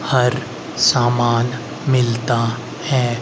हर सामान मिलता है।